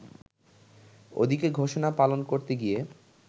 ওদিকে ঘোষণা পালন করতে গিয়ে